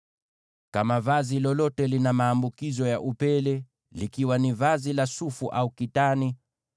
“Kama vazi lolote lina maambukizo ya upele: likiwa ni vazi la sufu au kitani,